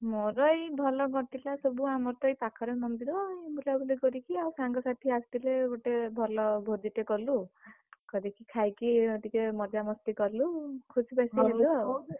ମୋର ଏଇ ଭଲ କଟିଲା ସବୁ ଆମର ଏଇ ପାଖରେ ମନ୍ଦିର ଆଉ ବୁଲାବୁଲି କରିକି ଆଉ ସାଙ୍ଗସାଥି ଆସିଥିଲେ ଗୋଟେ ଭଲ ଭୋଜି ଟେ କଲୁ, କରିକି ଖାଇକି ଟିକେ ମଜାମସ୍ତି ହେଲୁ ଖୁସି ବାସୀ ହେଲୁ ଆଉ।